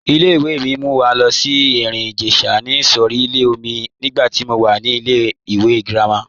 Ìlẹ̀-ìwé̀ mi mú wà lo sí Erin-Ijesha isọ̀sílẹ̀ọ̀mí nígbà tí mó wà ní ìlẹ̀-ìwé̀ gírámà.